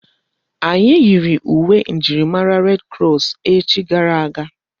Anyị yiiri uwe njirimara ndi red krọs echi gara aga.